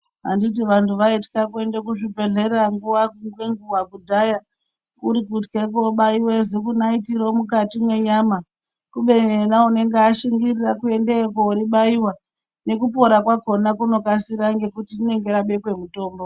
Anditi vanhu vaitya kuenda ku zvi bhedhlera nguva nge nguva kudhaya kuri kutya kubaiwa ziku naiti roo mukati me nyama kubeni wona unenge ashingirira kuendeyo koribaiwa neku pora kwakona kunokasira ngekuti rinenge rabekwe mutombo.